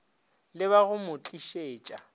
le ba go mo tlišetša